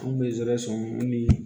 Anw bɛ zɛrɛ sɔn ni